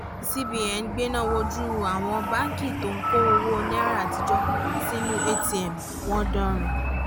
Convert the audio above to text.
cbn gbéná wojú àwọn báńkì tó ń kó owó náírà àtijọ́ sínú atm wọn dánrin